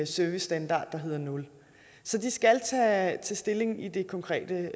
servicestandard der hedder nul de skal tage stilling i det konkrete